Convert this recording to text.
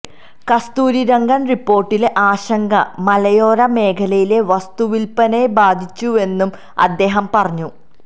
കസ്തൂരിരംഗന് റിപ്പോര്ട്ടിലെ ആശങ്ക മലയോര മേഖലയിലെ വസ്തുവില്പനയെ ബാധിച്ചുവെന്നും അദ്ദേഹം പറഞ്ഞു